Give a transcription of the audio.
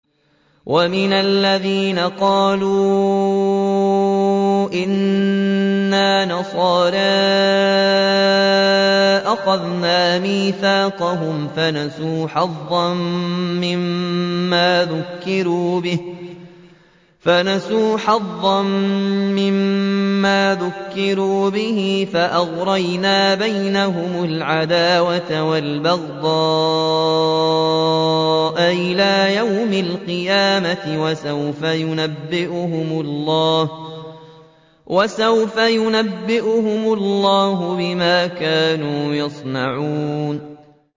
وَمِنَ الَّذِينَ قَالُوا إِنَّا نَصَارَىٰ أَخَذْنَا مِيثَاقَهُمْ فَنَسُوا حَظًّا مِّمَّا ذُكِّرُوا بِهِ فَأَغْرَيْنَا بَيْنَهُمُ الْعَدَاوَةَ وَالْبَغْضَاءَ إِلَىٰ يَوْمِ الْقِيَامَةِ ۚ وَسَوْفَ يُنَبِّئُهُمُ اللَّهُ بِمَا كَانُوا يَصْنَعُونَ